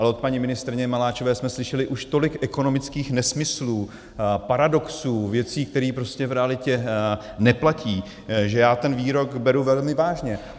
Ale od paní ministryně Maláčové jsme slyšeli už tolik ekonomických nesmyslů, paradoxů, věcí, které prostě v realitě neplatí, že já ten výrok beru velmi vážně.